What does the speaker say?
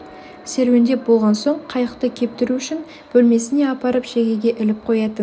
серуендеп болған соң қайықты кептіру үшін бөлмесіне апарып шегеге іліп қоятын